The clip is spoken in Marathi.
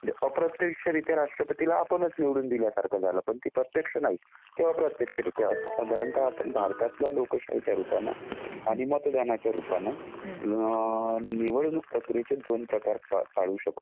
म्हणजे अप्रत्यक्षरित्या राष्ट्रपतीला आपणच निवडून दिल्यासारखं आहे. पण ते प्रत्यक्ष नाहीत ते अप्रत्यक्षरित्या कारण का आपण भारतातल्या लोकशाहीच्या रूपानं आणि मतदानाच्या रूपानं निवडणूक प्रक्रियेचे दोन प्रकार पाडू शकतो.